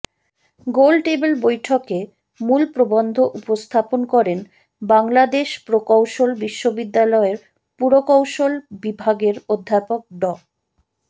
গোলটেবিল বৈঠকে মূল প্রবন্ধ উপস্থাপন করেন বাংলাদেশ প্রকৌশল বিশ্ববিদ্যালয়ের পুরকৌশল বিভাগের অধ্যাপক ড